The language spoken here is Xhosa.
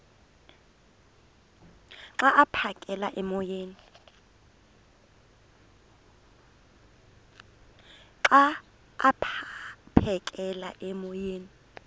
xa aphekela emoyeni